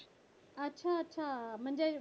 अच्छा अच्छा म्हणजे